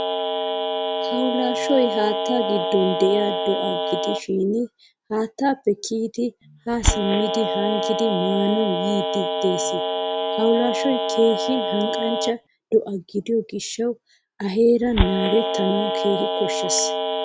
Hawulashshoy haattaa giddon de'iyaa do'a gidishin haattaappe kiyidi ha simmidi hanggidi maanawu yiidi de'ees. Hawulashoy keehin hanqqanchcha do'a gidiyo gishshawu a heeran naagettanawu keehin koshshees.